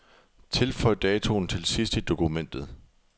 Tilføj datoen til sidst i dokumentet.